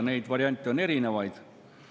Neid variante on erinevaid.